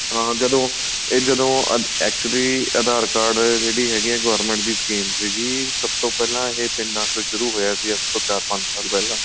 ਹਾਂ ਜਦੋਂ ਇਹ ਜਦੋਂ actually aadhar card ਜਿਹੜੀ ਹੈਗੀ ਏ government ਦੀ scheme ਸੀਗੀ ਸਭ ਤੋ ਪਹਿਲਾਂ ਇਹ ਪਿੰਡਾਂ ਤੋ ਸ਼ੁਰੂ ਹੋਇਆ ਸੀ ਅੱਜ ਚਾਰ ਪੰਜ ਸਾਲ ਪਹਿਲਾਂ